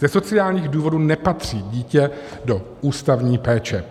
Ze sociálních důvodů nepatří dítě do ústavní péče.